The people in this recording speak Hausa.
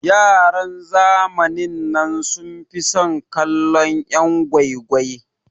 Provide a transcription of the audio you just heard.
Yaran zamanin nan sun fi son kallon'yan gwai gwai.